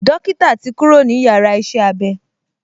Dókítà ti kúrò ní yàrá iṣẹ́-abé